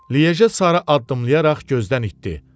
Liyeje sarı addımlayaraq gözdən itdi.